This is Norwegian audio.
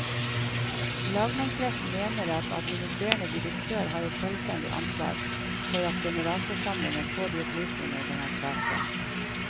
Lagmannsretten mener at administrerende direktør har et selvstendig ansvar for at generalforsamlingen får de opplysninger den har krav på.